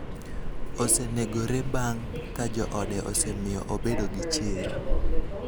osenegore bang' ka joode osemiyo obedo gi chir